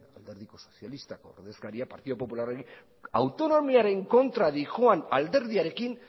alderdi sozialistako ordezkaria partidu popularrari autonomiaren kontra doan alderdiarekin